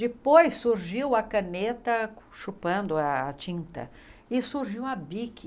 Depois surgiu a caneta chupando a tinta e surgiu a bic